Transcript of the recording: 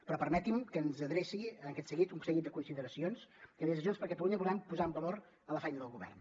però permeti’m que els adreci en aquest sentit un seguit de consideracions que des de junts per catalunya volem posar en valor de la feina del govern